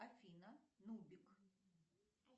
афина нубик